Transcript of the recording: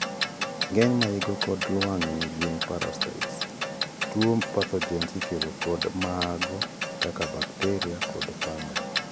ng'eny maigo kod lwamg'ni gin parasitoid , tuo pathogens ikelo kod maago kaka bakteria kod fungi